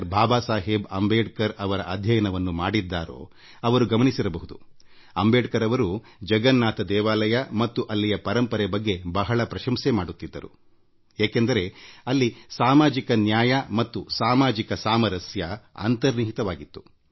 ಬಾಬಾಸಾಹೇಬ್ ಅಂಬೇಡ್ಕರ್ ಅವರ ಬದುಕು ಮತ್ತು ಕಾರ್ಯವನ್ನು ಓದಿದ್ದಾರೋ ಅವರಿಗೆ ಅಂಬೇಡ್ಕರ್ ಅವರು ಜಗನ್ನಾಥ ದೇವಾಲಯ ಮತ್ತು ಅಲ್ಲಿಯ ಸಂಪ್ರದಾಯದ ಬಗ್ಗೆ ಹೃದಯಾಂತರಾಳದಿಂದ ಮೆಚ್ಚುಗೆ ವ್ಯಕ್ತಪಡಿಸಿರುವುದು ತಿಳಿದಿರುತ್ತದೆ ಏಕೆಂದರೆ ಇದರಲ್ಲಿ ಸಾಮಾಜಿಕ ನ್ಯಾಯ ಮತ್ತು ಸಾಮಾಜಿಕ ಸಾಮರಸ್ಯ ಅಂತರ್ಗತವಾಗಿದೆ